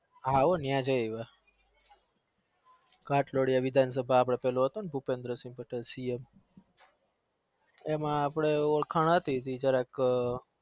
હ હો તેય ખોત્લેયા ભુપેન્દ સંગ સીએમ એમાં અપને ઓળખાણ હતી